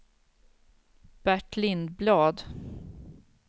Bert Lindblad